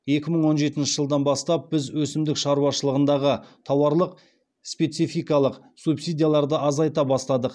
екі мың он жетінші жылдан бастап біз өсімдік шаруашылығындағы тауарлық спецификалық субсидияларды азайта бастадық